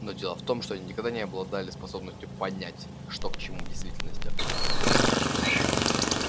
но дело в том что они никогда не обладали способностью понять что к чему в действительности